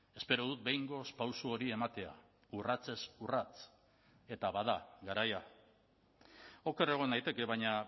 espero dut behingoz pauso hori ematea urratsez urrats eta bada garaia oker egon naiteke baina